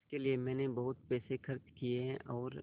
इसके लिए मैंने बहुत पैसे खर्च किए हैं और